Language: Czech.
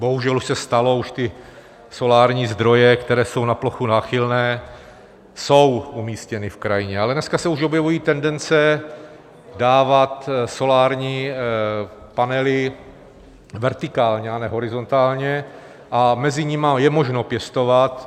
Bohužel už se stalo, už ty solární zdroje, které jsou na plochu náchylné, jsou umístěny v krajině, ale dneska se už objevují tendence dávat solární panely vertikálně, a ne horizontálně a mezi nimi je možno pěstovat.